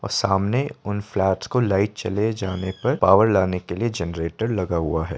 और सामने उन फ्लैट्स को लाइट चले जाने पर पावर लगाने के लिए जनरेटर लगा हुआ है।